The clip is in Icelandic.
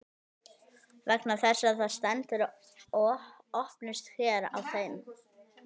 vegna þess að það stendur „opnist hér“ á þeim